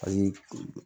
Ani